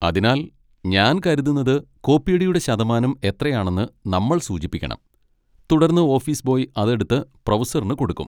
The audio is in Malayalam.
അതിനാൽ, ഞാൻ കരുതുന്നത് കോപ്പിയടിയുടെ ശതമാനം എത്രയാണെന്ന് നമ്മൾ സൂചിപ്പിക്കണം, തുടർന്ന് ഓഫീസ് ബോയ് അത് എടുത്ത് പ്രൊഫസറിന് കൊടുക്കും.